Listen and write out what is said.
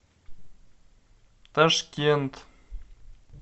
ташкент